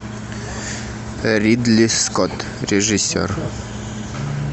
ридли скотт режиссер